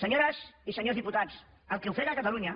senyores i senyors diputats el que ofega catalunya